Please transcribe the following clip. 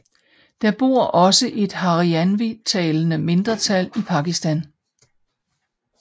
Der bor også et harianvitalende mindretal i Pakistan